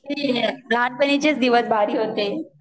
लहानपणीचेच दिवस भारी होते